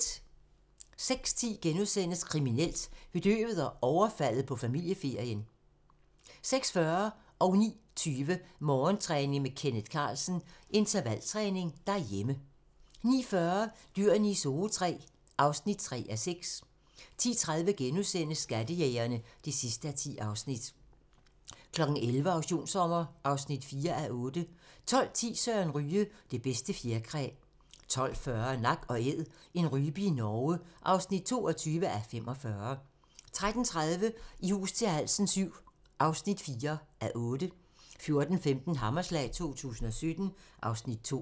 06:10: Kriminelt: Bedøvet og overfaldet på familieferien * 06:40: Morgentræning: Kenneth Carlsen - Intervaltræning derhjemme 09:20: Morgentræning: Kenneth Carlsen - Intervaltræning derhjemme 09:40: Dyrene i Zoo III (3:6) 10:30: Skattejægerne (10:10)* 11:00: Auktionssommer (4:8) 12:10: Søren Ryge: Det bedste fjerkræ 12:40: Nak & æd - en rype i Norge (22:45) 13:30: I hus til halsen VII (4:8) 14:15: Hammerslag 2017 (Afs. 2)